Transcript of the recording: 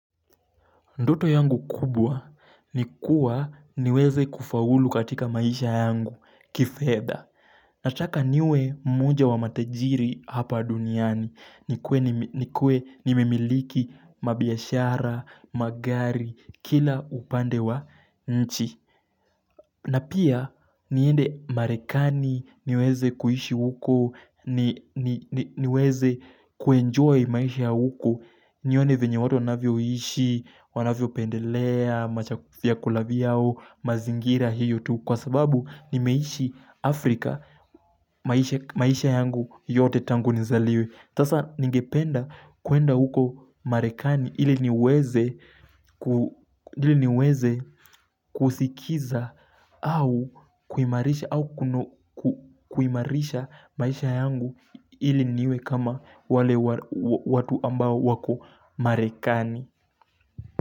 Ndoto yangu kubwa ni kuwa niweze kufaulu katika maisha yangu, kifedha. Nataka niwe mmoja wa matajiri hapa duniani. Nikue nimemiliki mabiashara, magari, kila upande wa nchi. Na pia niende marekani niweze kuishi huko, niweze kuenjoy maisha huko. Nione vyenye watu wanavyoishi Wanavyopendelea vyakula vyao mazingira hiyo tu Kwa sababu nimeishi Afrika maisha yangu yote tangu nizaliwe sasa ningependa kwenda huko marekani ili niweze kusikiza au kuimarisha maisha yangu ili niwe kama wale watu ambao wako marekani.